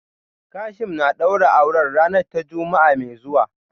Kasim na daura auren ranar ta Juma'a mai zuwa.